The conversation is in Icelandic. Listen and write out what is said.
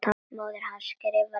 Móðir hans skrifar líka.